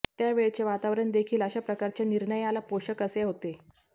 त्यावेळचे वातावरण देखील अशा प्रकारच्या निर्णयाला पोषक असे होते